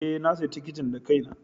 Ee, na sayi tikitin da kaina.